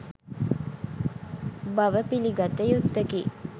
බව පිළිගත යුත්තකි.